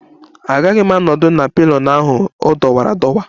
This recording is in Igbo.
Agaghị m anọdụ ala na pillion ahụ, ọ dọwara adọwa